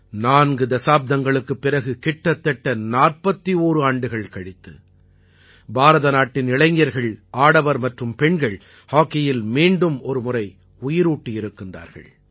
நான்கு தசாப்தங்களுக்குப் பிறகு கிட்டத்தட்ட 41 ஆண்டுகள் கழித்து பாரதநாட்டின் இளைஞர்கள் ஆடவர் மற்றும் பெண்கள் ஹாக்கியில் மீண்டும் ஒரு முறை உயிரூட்டியிருக்கின்றார்கள்